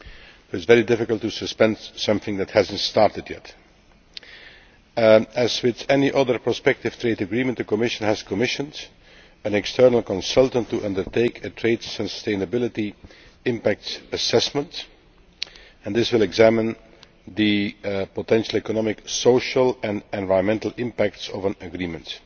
It is very difficult to suspend something that has not yet started. As with any other prospective trade agreement, the Commission has commissioned an external consultant to undertake a trade sustainability impact assessment. This will examine the potential economic, social and environmental impact of an agreement.